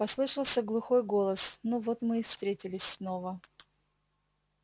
послышался глухой голос ну вот мы и встретились снова